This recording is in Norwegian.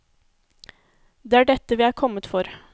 Det er dette vi er kommet for.